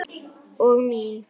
Og mín.